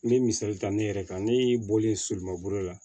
N ye misali ta ne yɛrɛ kan ne y'i bɔlen soliman bolo la